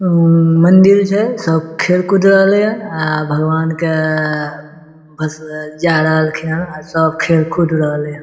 ऊ ऊ ऊ मन्दिर छै सब खेल-कूद रहलेन या अ भगवान के अ अ भषबे ले जाय रहलखिन या अ सब खेल-कुद रहले।